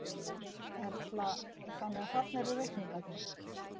Erla: Þannig að þarna eru reikningarnir?